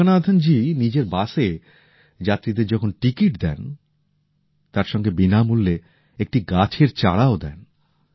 যোগনাথন জী নিজের বাসে যাত্রীদের যখন টিকিট দেন তার সঙ্গে বিনামূল্যে একটা গাছের চারাও দেন